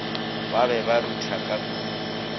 be ba ruthana ka kudukudu